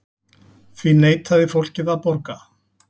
Því neitaði fólkið að borga.